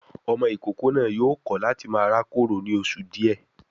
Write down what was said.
Ọmọ ìkókó náà yóò kọ láti máa rákòrò ní oṣù díẹ̀